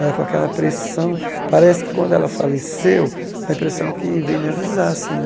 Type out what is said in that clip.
Ela com aquela pressão, parece que quando ela faleceu, da impressão que veio me avisar assim né.